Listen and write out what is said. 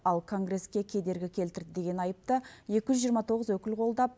ал конгресске кедергі келтірді деген айыпты екі жүз жиырма тоғыз өкіл қолдап